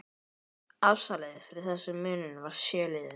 Afsalið fyrir þessum munum var í sjö liðum